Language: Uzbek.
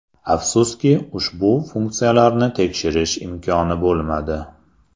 Afsuski, ushbu funksiyalarni tekshirish imkoni bo‘lmadi.